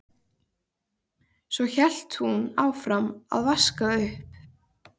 Svo hélt hún áfram að vaska upp.